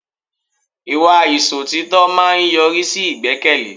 Ìwà Ìsòtítọ́ máa ń yọrí sí ìgbẹ́kẹ̀lé